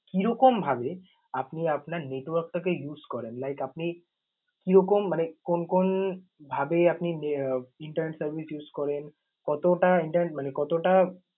কিরকমভাবে আপনি আপনার network টাকে use করেন? Like আপনি কিরকম মানে কোন কোন ভাবে আপনি আহ internet service use করেন? কতোটা inter~ মানে কতোটা